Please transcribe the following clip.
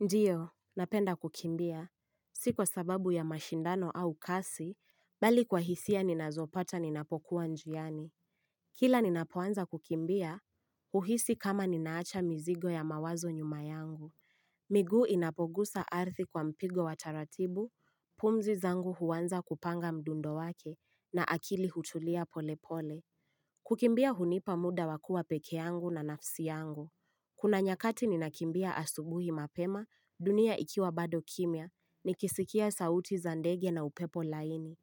Ndiyo, napenda kukimbia. Si kwa sababu ya mashindano au kasi, bali kwa hisia ninazopata ninapokuwa njiani. Kila ninapoanza kukimbia, huhisi kama ninaacha mizigo ya mawazo nyuma yangu. Miguu inapogusa ardhi kwa mpigo wa taratibu, pumzi zangu huanza kupanga mdundo wake, na akili hutulia pole pole. Kukimbia hunipa muda wa kuwa peke yangu na nafsi yangu. Kuna nyakati ninakimbia asubuhi mapema, dunia ikiwa bado kimya, nikisikia sauti za ndege na upepo laini.